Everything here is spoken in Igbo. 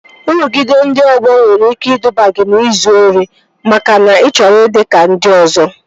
Nrụgide ndị ọgbọ nwere ike iduba gị n'izu ori makana ị chọrọ ịdị ka ndị ọzọ